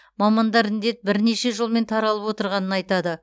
мамандар індет бірнеше жолмен таралып отырғанын айтады